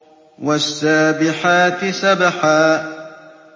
وَالسَّابِحَاتِ سَبْحًا